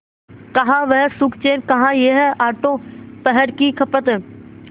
कहाँ वह सुखचैन कहाँ यह आठों पहर की खपत